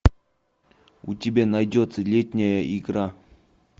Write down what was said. у тебя найдется летняя игра